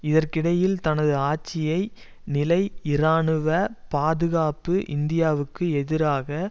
இதற்கிடையில் தனது ஆட்சியை நிலை இராணுவ பாதுகாப்பு இந்தியாவுக்கு எதிராக